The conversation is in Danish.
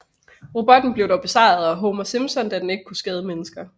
Robotten blev dog besejret af Homer Simpson da den ikke kunne skade mennesker